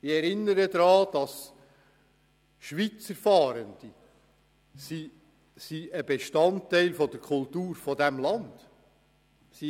Ich erinnere daran, dass Schweizer Fahrende ein Bestandteil der Kultur dieses Landes sind.